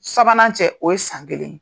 Sabanan cɛ o ye san kelen.